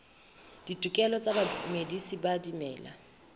ditokelo tsa bamedisi ba dimela